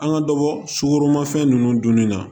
An ka dɔ bɔ sukoromafɛn ninnu dunni na